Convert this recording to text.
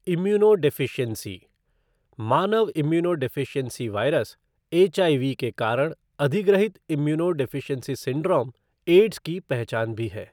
Immunodeficiency मानव immunodeficiency virus, HIV के कारण अधिग्रहित इम्यूनोडेफ़िशियेंसी सिंड्रोम, एड्स की पहचान भी है।